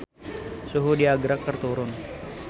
Suhu di Agra keur turun